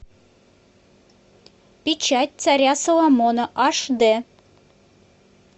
печать царя соломона аш д